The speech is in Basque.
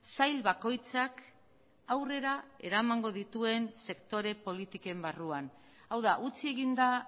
sail bakoitzak aurrera eramango dituen sektore politiken barruan hau da utzi egin da